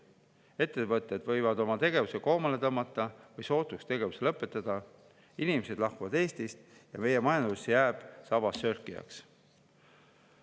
Ettevõtted võivad oma tegevuse koomale tõmmata või sootuks tegevuse lõpetada, inimesed lahkuvad Eestist ja meie majandus jääb sabassörkijaks.